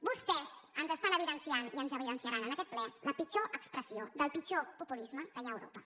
vostès ens evidencien i ens evidenciaran en aquest ple la pitjor expressió del pitjor populisme que hi ha a europa